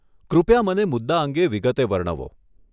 કૃપયા મને મુદ્દા અંગે વિગતે વર્ણવો.